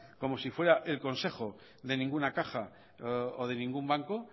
como si fuera el consejo de ninguna caja o de ningún banco